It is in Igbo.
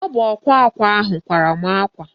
Ọ bụ ọkwa akwa ahụ kwara mụ akwa